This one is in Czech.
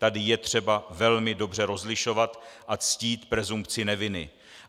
Tady je třeba velmi dobře rozlišovat a ctít presumpci neviny.